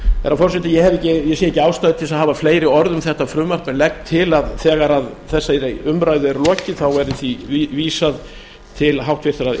herra forseti ég sé ekki ástæðu til þess að hafa fleiri orð um þetta frumvarp en legg til að þegar þessari umræðu er lokið þá verði því vísað til háttvirtrar